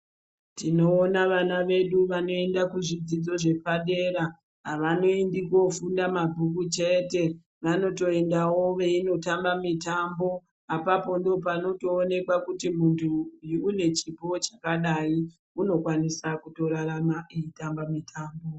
Tinoona vana vedu vanoenda kuzvidzidzo zvepadera avanoendi kofunda mabhuku chete vanotoendawo veindotamba mitambo apapo ndopanotoonekwa kuti muntu uyu une chipo chakadai unokwanisa kutorarama eitamba mitambo.